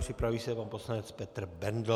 Připraví se pan poslanec Petr Bendl.